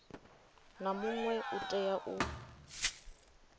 na muṅwe u tea u